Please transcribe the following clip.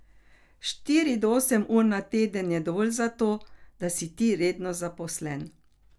Štiri do osem ur na teden je dovolj zato, da si ti redno zaposlen.